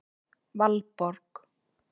Valborg